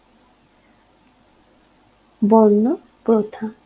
বর্ণ প্রথা